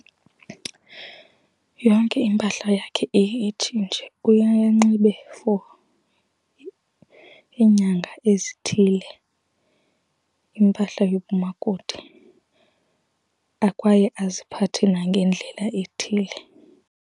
Yonke impahla yakhe iye itshintshe. Uyaya anxibe for iinyanga ezithile impahla yobumakoti kwaye aziphathe nangendlela ethile.